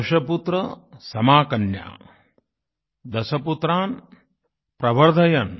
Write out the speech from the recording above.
दशपुत्र समाकन्या दशपुत्रान प्रवर्धयन्